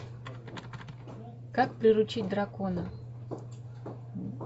как приручить дракона